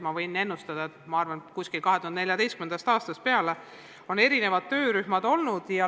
Ma arvan, et umbes 2014. aastast peale on sellega tegelenud erinevad töörühmad.